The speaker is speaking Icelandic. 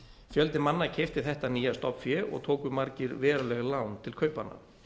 fjöldi manna keypti þetta nýja stofnfé og tóku margir veruleg lán til kaupanna